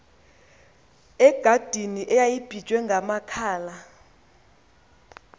egadini eyayibiywe ngamakhala